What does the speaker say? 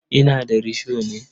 Ina da risho ne.